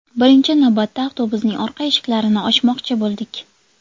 Birinchi navbatda avtobusning orqa eshiklarini ochmoqchi bo‘ldik.